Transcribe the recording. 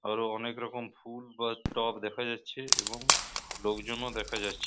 আরো অনকে রকম ফুল বা টব দেখা যাচ্ছে এবং লোকজন ও দেখা যাচ্ছে --